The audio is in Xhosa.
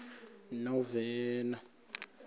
novena